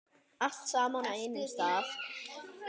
Allt saman á einum stað.